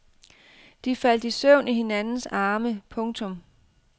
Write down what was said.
De faldt i søvn i hinandens arme. punktum